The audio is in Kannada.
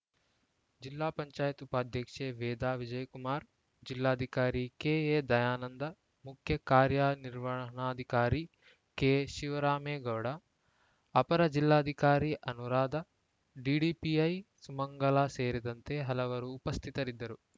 ಜಿಪಂ ಉಪಾಧ್ಯಕ್ಷೆ ವೇದಾ ವಿಜಯಕುಮಾರ್‌ ಜಿಲ್ಲಾಧಿಕಾರಿ ಕೆಎ ದಯಾನಂದ ಮುಖ್ಯ ಕಾರ್ಯನಿರ್ವಹಣಾಧಿಕಾರಿ ಕೆಶಿವರಾಮೇಗೌಡ ಅಪರ ಜಿಲ್ಲಾಧಿಕಾರಿ ಅನುರಾಧ ಡಿಡಿಪಿಐ ಸುಮಂಗಲಾ ಸೇರಿದಂತೆ ಹಲವರು ಉಪಸ್ಥಿತರಿದ್ದರು